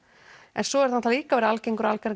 en svo er náttúrulega líka algengari